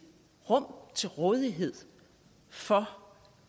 rum til rådighed for